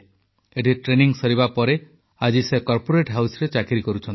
ଏଠି ଟ୍ରେନିଂ ସରିବା ପରେ ଆଜି ସେ କର୍ପୋରେଟ୍ ହାଉସରେ ଚାକିରି କରୁଛନ୍ତି